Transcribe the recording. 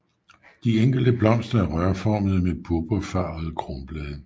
De enkelte blomster er rørformede med purpurfarvede kronblade